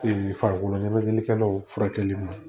farikolo ɲɛnajɛlikɛlaw furakɛli ma